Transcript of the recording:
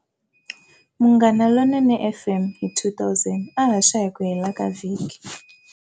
Munghana lonene FM hi 2000 a haxa hiku hela ka vhiki.